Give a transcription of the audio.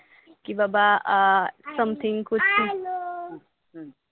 हम्म